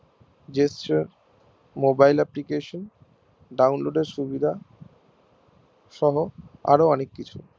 gestureMobile application download এর সুবিধা সহ আর অনেক কিছু